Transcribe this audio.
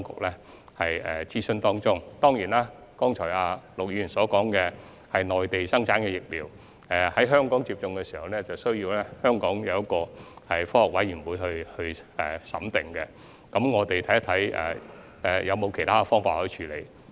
陸議員剛才談到內地生產的疫苗，若在香港接種，須由香港科學委員會審訂，我們將審視是否有其他處理方法。